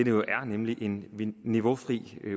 jo er nemlig en niveaufri